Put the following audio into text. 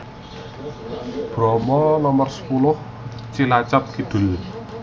Bromo Nomer sepuluh Cilacap Kidul